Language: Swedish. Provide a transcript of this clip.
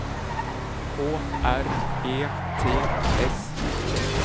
K R E T S